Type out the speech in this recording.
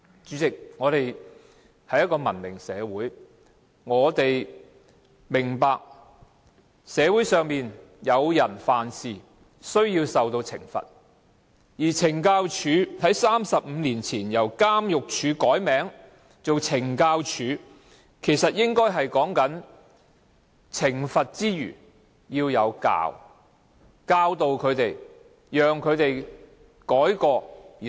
主席，香港是一個文明社會，我們明白社會上當有人犯事時，便應該受到懲罰，但懲教署在35年前由監獄署改名為懲教署，其實意思便是在懲罰以外，亦應該要教導，讓曾經犯錯的人改過自新。